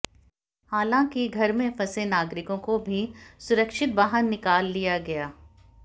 हालांकि घर में फंसे नागरिकों को भी सुरक्षित बाहर निकाल लिया गया